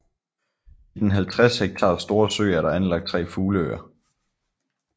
I den 50 hektar store sø er der anlagt 3 fugleøer